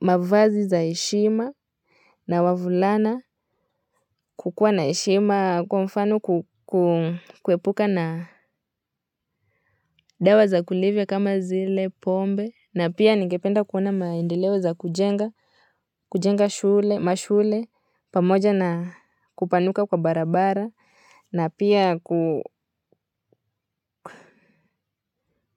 mavazi za heshima na wavulana kukuwa na heshima kwa mfano kuepuka na dawa za kulevya kama zile pombe na pia ningependa kuona maendeleo za kujenga mashule pamoja na kupanuka kwa barabara na pia